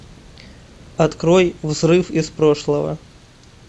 открой взрыв из прошлого